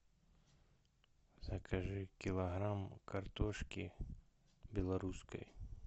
закажи килограмм картошки белорусской